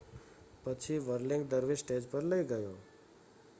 પછી વર્લિંગ દરવીશ સ્ટેજ પર લઈ ગયો